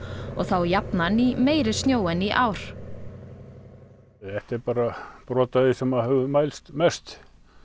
og þá jafnan í meiri snjó en í ár þetta er bara brot af því sem að hefur mælst mest